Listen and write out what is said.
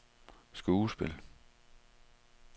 skuespil